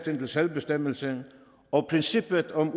til selvbestemmelse og princippet om